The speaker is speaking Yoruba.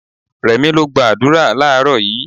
Rẹ̀mí lọ gba àdúrà láàrọ́ yìí.